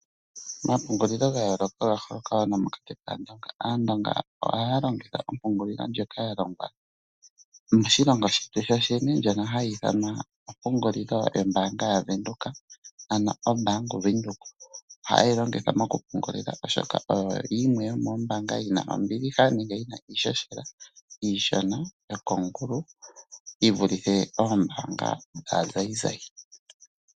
Omapungulilo ga yooloka oga holoka wo nomokati kaandonga. Aandonga ohaya longitha ompungulilo ndjoka ya longwa moshilongo shetu sho shene, ndjono hayi ithawa ompungulilo yombaanga yaVenduka ano oBank Windhoek. Ohaye yi longitha moku pungulila oshoka oyo yimwe yomoombaanga dhina ombiliha nenge iishoshela iishona yokongulu yi vulithe oombaanga dhaazayizayi.